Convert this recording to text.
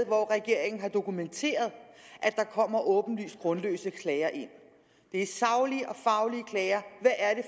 hvor regeringen har dokumenteret at der kommer åbenlyst grundløse klager ind det er saglige